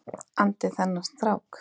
andi þennan strák.